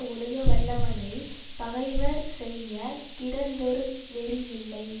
ஒழுகவல்லவனைப் பகைவர் செய்ய கிடந்ததொரு நெறி யில்லை